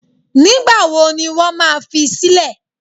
Nígbà wo ni wọ́n ma fi sílẹ̀?